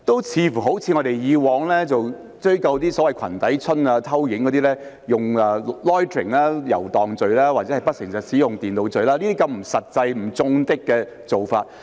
似乎我們以往想追究所謂"裙底春"、偷拍等，採用以遊蕩罪或不誠實使用電腦罪檢控等不實際、不中的的做法。